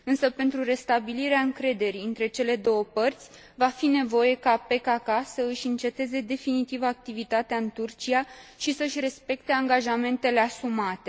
Pentru restabilirea încrederii între cele două părți, va fi nevoie ca PKK să își înceteze definitiv activitatea în Turcia și să și respecte angajamentele asumate.